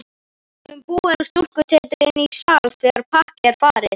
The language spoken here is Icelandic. Við getum búið um stúlkutetrið inní sal þegar pakkið er farið.